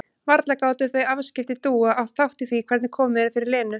Varla gátu þau afskipti Dúu átt þátt í því hvernig komið er fyrir Lenu?